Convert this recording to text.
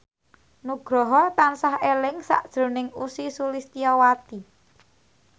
Nugroho tansah eling sakjroning Ussy Sulistyawati